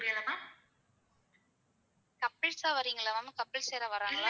Couples தான் வரீங்களா? couples யாராவது வராங்களா?